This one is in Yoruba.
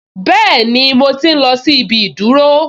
Bẹ́ẹ̀ni, mo tí n lọ sí ibi ìdúró